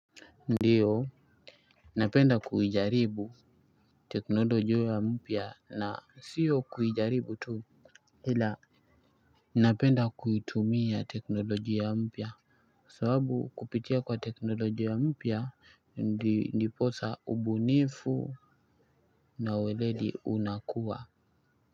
Ndiyo, napenda kuijaribu teknolojia mpya na siyo kuijaribu tuu ila, napenda kuitumia teknolojia ya mpya sababu kupitia kwa teknolojia mpya ndiposa ubunifu na weredi unakua.